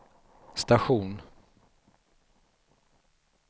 station